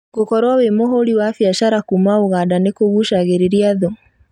Gũkorwo wĩ mũhũri wa biacara kuma ũganda nĩkũgucagĩrĩria thũ